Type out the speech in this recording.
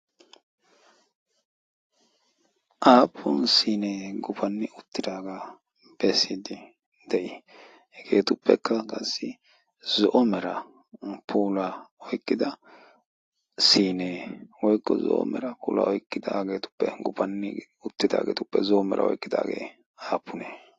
aappun sinee gufanni uttidaagaa beesiiddi de7i? hegeetuppekka qassi zo'o mera pula oiqqida sinee woikko zo'o mera puula oiqqidaageetuppe gufanni uttidaageetuppe zo'o mera oiqqidaagee aapunee?